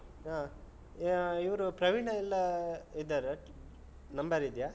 ಹಾ. ಯಾ ಇವ್ರು ಪ್ರವೀಣಾ ಎಲ್ಲಾ ಇದ್ದಾರಾ? number ಇದ್ಯಾ?